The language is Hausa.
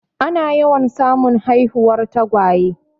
Ana yawan samun haihuwar tagwaye.